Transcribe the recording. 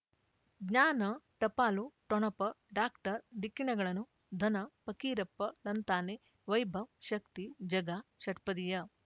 ಜ್ಞಾನ ಟಪಾಲು ಠೊಣಪ ಡಾಕ್ಟರ್ ಢಿಕ್ಕಿ ಣಗಳನು ಧನ ಫಕೀರಪ್ಪ ಳಂತಾನೆ ವೈಭವ್ ಶಕ್ತಿ ಝಗಾ ಷಟ್ಪದಿಯ